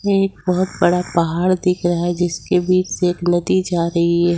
ये एक बहुत बड़ा पहाड़ दिख रहा है जिसके बीच से एक नदी जा रही है।